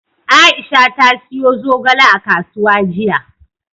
Aisha ta siyo zogale a kasuwa jiya.